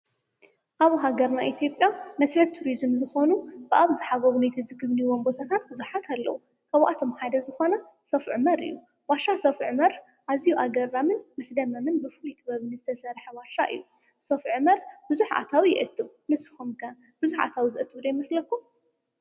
ኣብ ሃገርና ኢትዮጵያ መስሕብ ትሪዝም ዝኾኑ ብኣብዝሓ ጎብነይቲ ዝጉብንዩዎም ቦታታት ቡዙሓት ኣለው፡፡ ካብኣቶም ሓደ ዝኾነ ዋሻ ሰፍዑመር እዩ፡፡ ዋሻ ሰፍዑመር ኣዝዩ ኣገራምን መስደመምን ብፍሉይ ጥበብ ዝተሰርሐ ዋሻ እዩ፡፡ ሰፍዑመር ብዙሕ ኣታዊ የአቱ፡፡ ንስኹም ከ ብዙሕ ኣታዊ ዘእቱ ዶ ይመስለኩም?